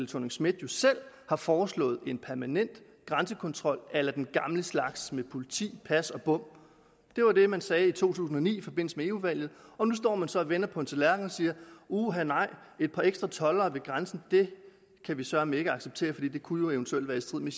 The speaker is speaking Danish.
thorning schmidt jo selv har foreslået en permanent grænsekontrol a la den gamle slags med politi pas og bom det var det man sagde i to tusind og ni i forbindelse med eu valget og nu står man så vender på en tallerken og siger uha nej et par ekstra toldere ved grænsen kan vi søreme ikke acceptere for det kunne jo eventuelt være i strid med